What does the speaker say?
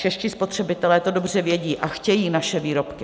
Čeští spotřebitelé to dobře vědí a chtějí naše výrobky.